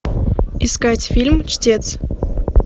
искать фильм чтец